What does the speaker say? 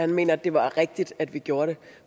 han mener det var rigtigt at vi gjorde det